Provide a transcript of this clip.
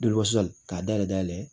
k'a dayɛlɛ dayɛlɛ